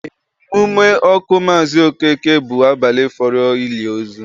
Emume ọkụ abali Maazi Okeke bụ abalị fọrọ ụbọchị ili ozu